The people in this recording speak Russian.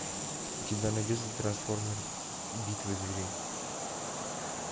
у тебя найдется трансформеры битва зверей